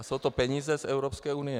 A jsou to peníze z Evropské unie.